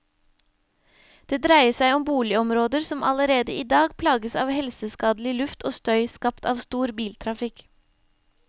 Det dreier seg om boligområder som allerede i dag plages av helseskadelig luft og støy skapt av stor biltrafikk.